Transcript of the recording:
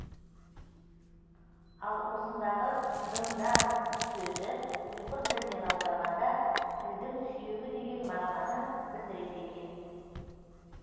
ал осындағы дындан сөзі ұйғыр тілінен аударғанда пілдің сүйегі деген мағынаны білдіреді екен